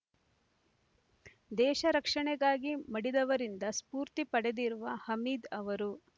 ದೇಶ ರಕ್ಷಣೆಗಾಗಿ ಮಡಿದವರಿಂದ ಸ್ಫೂರ್ತಿ ಪಡೆದಿರುವ ಹಮೀದ್ ಅವರು